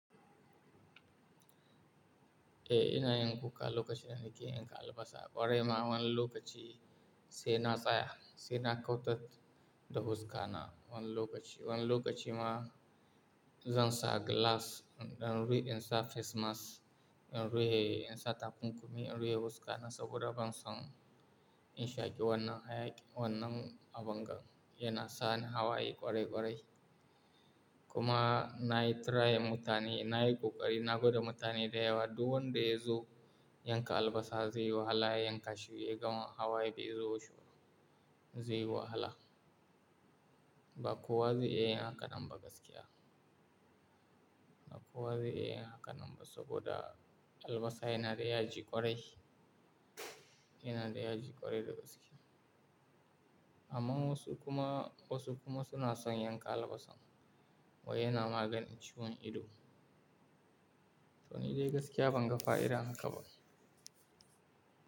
Eh, ina yin kuka lokaci ɗaya, nake yanka albasa. Kwarai ma, wani lokaci sai na tsaya, sai na kautar da fuskana. Wani lokaci, wani lokaci ma zan sa gilas, in rike in sa fes mas, in rufe in sa tafin kunne, in rufe wuskana saboda ban son in shaƙi wannan, wannan abin da yana sa ni hawaye ƙwarai ƙwarai. Kuma na yi trying mutane, na yi ƙoƙari, na gwada mutane da yawa. Duk wanda ya zo yanka albasa zai yi wahala. Ya yanka shi ya gama hawaye bai zo shi ba, zai yi wahala. Ba kowa zai iya yin hakan ba gaskiya. Ba kowa zai iya yin hakan ba saboda albasa yana da yaji ƙwarai, yana da yaji ƙwarai da gaske. Amma wasu kuma, wasu kuma suna son yanka albasa. Wai yana maganin ciwon ido. To ni dai gaskiya ban ga fa'ida hakan ba.